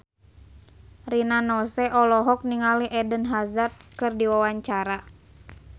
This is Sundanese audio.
Rina Nose olohok ningali Eden Hazard keur diwawancara